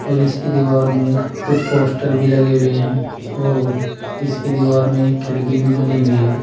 और इसकी दीवार में कुछ पोस्टर भी लगे हुए हैं और इसकी दीवार में एक खिड़की भी बनी हुई है।